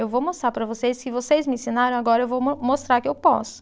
Eu vou mostrar para vocês que vocês me ensinaram, agora eu vou mo mostrar que eu posso.